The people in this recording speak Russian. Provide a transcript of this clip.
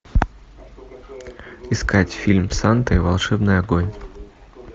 искать фильм санта и волшебный огонь